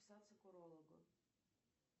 записаться к урологу